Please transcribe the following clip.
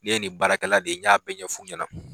Ne ye nin baarakɛla de ye' n ɲa bɛ ɲɛ fu ɲɛna.